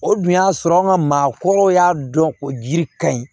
O dun y'a sɔrɔ an ka maakɔrɔw y'a dɔn ko jiri ka ɲi